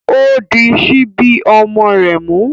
O di sibi ọmọ rẹ mu